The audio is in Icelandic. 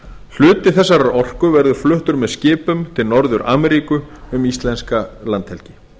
hluti þessarar orku verður fluttur með skipum til norður ameríku um íslenska landhelgi